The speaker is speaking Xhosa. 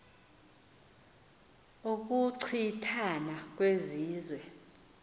ukuchi thana kwezizwe